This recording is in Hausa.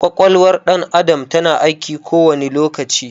Ƙwaƙwalwar ɗan adam ta na aiki kowani lokaci